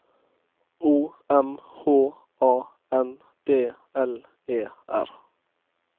O M H A N D L E R